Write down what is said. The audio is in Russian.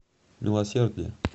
милосердие